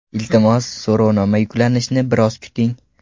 Iltimos, so‘rovnoma yuklanishini biroz kuting.